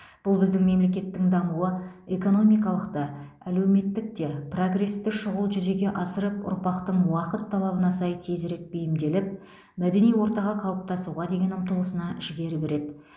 бұл біздің мемлекеттің дамуы экономикалық та әлеуметтік те прогресті шұғыл жүзеге асырып ұрпақтың уақыт талабына сай тезірек бейімделіп мәдени ортаға қалыптасуға деген ұмтылысына жігер береді